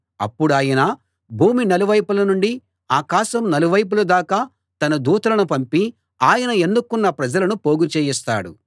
అప్పుడాయన భూమి నలువైపుల నుండి ఆకాశం నలువైపుల దాకా తన దూతలను పంపి ఆయన ఎన్నుకున్న ప్రజలను పోగుచేయిస్తాడు